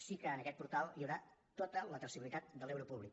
sí que en aquest portal hi haurà tota la traçabilitat de l’euro públic